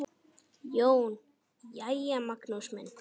JÓN: Jæja, Magnús minn!